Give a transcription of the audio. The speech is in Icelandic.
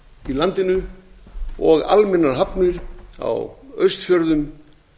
í landinu og almennar hafnir á austfjörðum